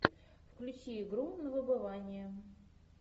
включи игру на выбывание